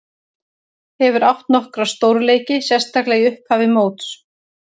Hefur átt nokkra stórleiki, sérstaklega í upphafi móts.